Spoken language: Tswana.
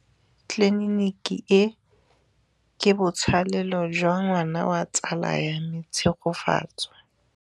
Tleliniki e, ke botsalêlô jwa ngwana wa tsala ya me Tshegofatso.